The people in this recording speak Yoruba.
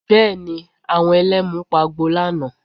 Bẹ́ẹ̀ ni, àwọn Ẹlẹ́mu pagbo lánàá